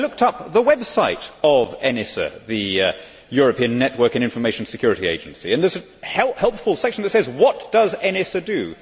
I looked up the website of ENISA, the European Network and Information Security Agency, and there is a helpful section that says What does ENISA do?'